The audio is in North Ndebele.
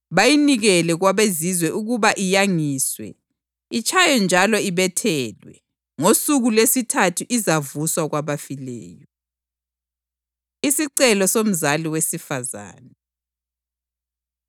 bayinikele kwabeZizwe ukuba iyangiswe, itshaywe njalo ibethelwe. Ngosuku lwesithathu izavuswa kwabafileyo!” Isicelo Somzali Wesifazane